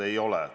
Ei ole.